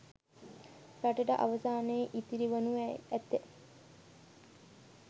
රටට අවසානයේ ඉතිරි වනු ඇත